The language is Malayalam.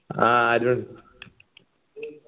ആഹ് അരുൺ